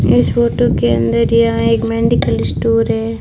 इस फोटो के अंदर यहां एक मेडिकल स्टोर है।